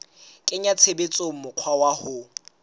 kenya tshebetsong mokgwa wa ho